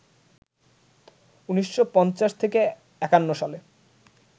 ১৯৫০-৫১ সালে